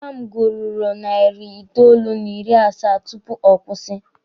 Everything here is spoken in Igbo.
Nwa m gururu narị itoolu n'ịrị asaa tupu ọ kwụsị.